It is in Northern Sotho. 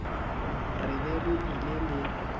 re be re ile le